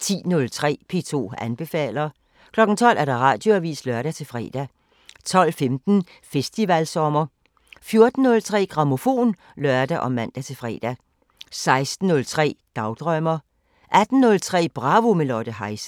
10:03: P2 anbefaler 12:00: Radioavisen (lør-fre) 12:15: Festivalsommer 14:03: Grammofon (lør og man-fre) 16:03: Dagdrømmer 18:03: Bravo – med Lotte Heise